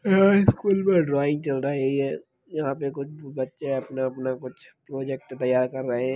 यह स्कूल मे ड्रॉइंग चल रही है यहा पे कुछ बच्चे अपना अपना कुछ प्रोजेक्ट तैयार कर रहे है।